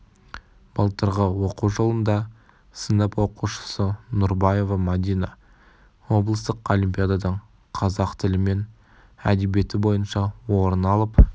былтырғы оқу жылында сынып оқушысы нурбаева мадина облыстық олипиададан қазақ тілі мен әдебиеті бойынша орын алып